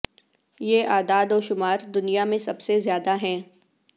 یہ اعداد و شمار دنیا میں سب سے زیادہ ہے